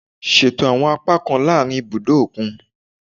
Ṣeto awọn apakan laarin ibudo okun